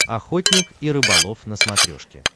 охотник и рыболов на смотрешке